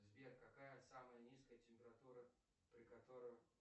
сбер какая самая низкая температура при которой